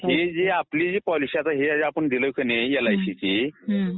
आपली जी पॉलिसी आपण दिली एलआयसीची